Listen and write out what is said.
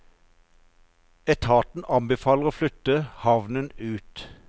Etaten anbefaler å flytte havnen ut.